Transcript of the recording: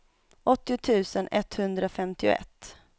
åttio tusen etthundrafemtioett